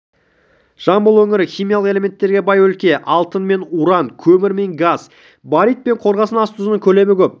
жамбыл өңірі химиялық элементтерге бай өлке алтын мен уран көмір мен газ барит пен қорғасын ас тұзының көлемі көп